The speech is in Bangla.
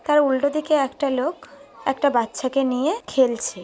তার উল্টো দিকে একটা লোক একটা বাচ্চাকে নিয়ে খেলছে।